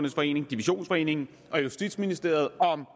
divisionsforeningen og justitsministeriet om